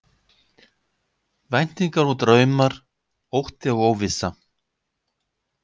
Væntingar og draumar, ótti og óvissa.